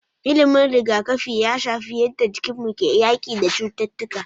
Ilimin riga kafi ya shafi yadda jikinmu ke yaki da cututtuƙa